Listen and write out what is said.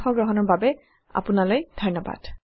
অংশ গ্ৰহণৰ বাবে আপোনালৈ ধন্যবাদ